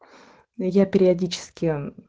я периодически